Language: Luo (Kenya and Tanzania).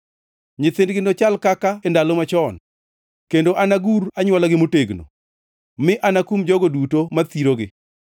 Nyithindgi nochal kaka e ndalo machon, kendo anagur anywolagi motegno, mi anakum jogo duto ma thirogi.